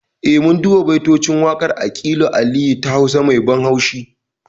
Eh mun duba baitocin waƙar aƙilu aliyu ta hausa mai ban haushi